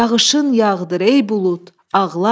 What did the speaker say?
yağışın yağdır ey bulud, ağla.